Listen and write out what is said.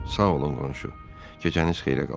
Sağ olun qonşu, gecəniz xeyrə qalsın.